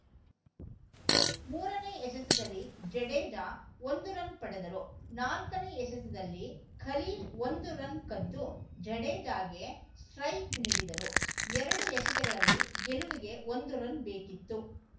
ಮೂರನೇ ಎಸೆತದಲ್ಲಿ ಜಡೇಜಾ ಒಂದು ರನ್‌ ಪಡೆದರು ನಾಲ್ಕನೇ ಎಸೆತದಲ್ಲಿ ಖಲೀಲ್‌ ಒಂದು ರನ್‌ ಕದ್ದು ಜಡೇಜಾಗೆ ಸ್ಟ್ರೈಕ್‌ ನೀಡಿದರು ಎರಡು ಎಸೆತಗಳಲ್ಲಿ ಗೆಲುವಿಗೆ ಒಂದು ರನ್‌ ಬೇಕಿತ್ತು